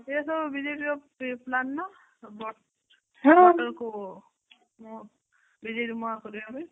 ସେ ସବୁ ବିଜେଡ଼ିର pre plan ନା? but BJD